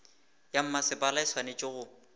ya mmasepala e swanetše go